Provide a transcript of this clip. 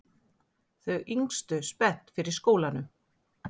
Þau yngstu spennt fyrir skólanum